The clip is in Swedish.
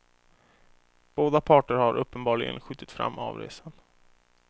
Båda parter har uppenbarligen skjutit fram avresan.